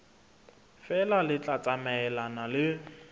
feela le tla tsamaelana le